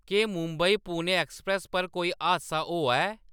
केह्‌‌ मुंबई पुणे एक्सप्रेस पर कोई हादसा होआ ऐ